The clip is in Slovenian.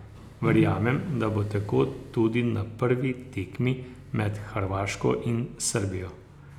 Verjamem, da bo tako tudi na prvi tekmi med Hrvaško in Srbijo.